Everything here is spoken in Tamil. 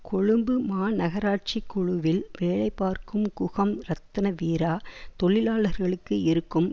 கொழும்பு மாநகராட்சிக் குழுவில் வேலைபார்க்கும் குசும் ரத்னவீரா தொழிலாளர்களுக்கு இருக்கும்